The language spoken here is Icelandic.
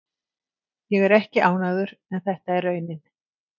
Ég er ekki ánægður en þetta er raunin.